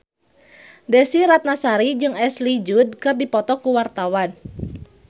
Desy Ratnasari jeung Ashley Judd keur dipoto ku wartawan